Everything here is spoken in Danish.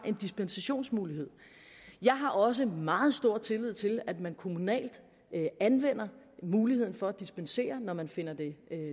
en dispensationsmulighed jeg har også meget stor tillid til at man kommunalt anvender muligheden for at dispensere når man finder det